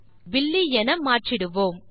பின் பில்லி என மாற்றிவிடுவோம்